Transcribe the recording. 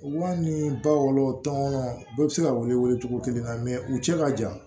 Wa ni ba wɔɔrɔ tɔnɔnɔ bɛɛ bɛ se ka welewele cogo kelen na mɛ u cɛ ka jan